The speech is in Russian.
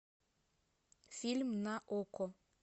фильм на окко